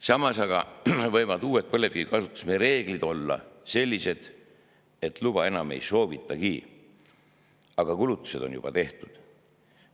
Samas aga võivad uued põlevkivi kasutamise reeglid olla sellised, et luba enam ei soovitagi, aga kulutused on juba tehtud.